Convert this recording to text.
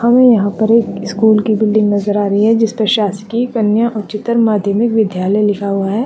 हमें यहाँ पर एक स्कूल की बिल्डिंग नजर आ रही है जिसपे शासकीय कन्या उच्चतर माध्यमिक विद्यालय लिखा हुआ है।